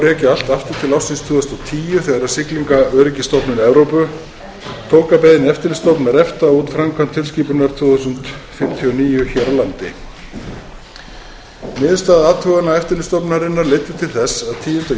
ársins tvö þúsund og tíu þegar siglingaöryggisstofnun evrópu tók að beiðni eftirlitsstofnunar efta út framkvæmd tilskipunar tvö þúsund fimmtíu og níu hér á landi niðurstaða athugana eftirlitsstofnunarinnar leiddu til þess að tíunda